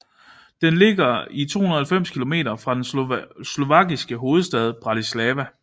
Den ligger 290 kilometer fra den slovakiske hovedstad Bratislava